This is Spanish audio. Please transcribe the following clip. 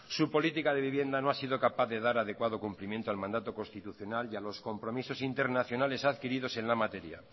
su política de vivienda no ha sido capaz de dar adecuado cumplimiento al mandato constitucional y a los compromisos internacionales adquiridos en la materia